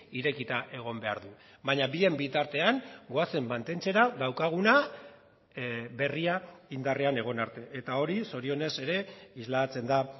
irekita egon behar du baina bien bitartean goazen mantentzera daukaguna berria indarrean egon arte eta hori zorionez ere islatzen da